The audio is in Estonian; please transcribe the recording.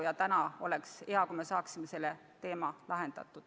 Ja oleks hea, kui me saaksime selle probleemi lahendatud.